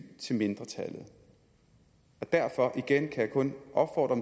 til mindretallet derfor kan igen kun opfordre